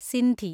Sindhi